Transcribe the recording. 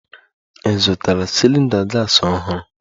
Ị zụtara cylinder gas ọhụrụ?